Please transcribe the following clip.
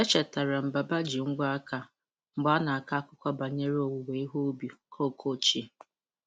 Echetara m Baba ji ngwọ aka mgbe ọ na-akọ akụkọ banyere owuwe ihe ubi koko ochie.